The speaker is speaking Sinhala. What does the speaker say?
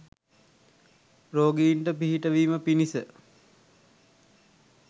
රෝගීන්ට පිහිටවීම පිණිස